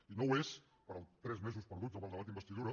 i no ho és pels tres mesos perduts amb el debat d’investidura